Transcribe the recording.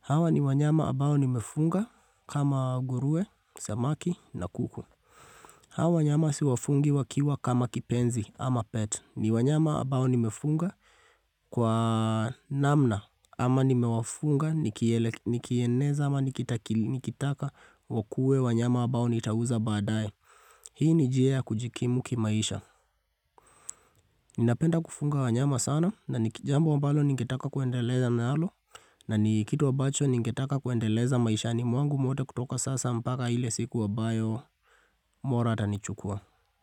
Hawa ni wanyama ambao nimefunga kama nguruwe, samaki na kuku. Hawa wanyama siwafugi wakiwa kama kipenzi ama pet. Ni wanyama ambao nimefuga kwa namna ama nimewafuga, nikieneza ama nikitaka wakue wanyama ambao nitauza badaye. Hii ni njia ya kujikimu kimaisha Ninapenda kufuga wanyama sana na ni jambo ambalo ningetaka kuendelea nalo na ni kitu ambacho ningetaka kuendeleza maishani mwangu mwote kutoka sasa mpaka ile siku ambayo mola atanichukua.